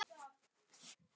Valur lítur við og brosir.